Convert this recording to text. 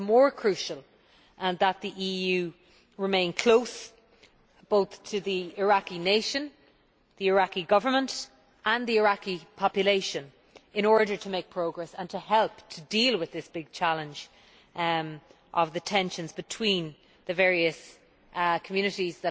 It is more crucial that the EU remain close to the Iraqi nation, the Iraqi Government, and the Iraqi population, in order to make progress and to help to deal with this big challenge of the tensions between the various communities